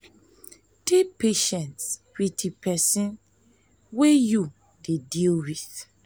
dey patient with di person wey di person wey you dey deal with